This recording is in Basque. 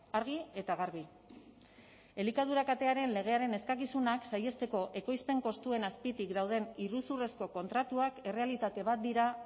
argi eta garbi elikadura katearen legearen eskakizunak saihesteko ekoizpen kostuen azpitik dauden iruzurrezko kontratuak errealitate bat dira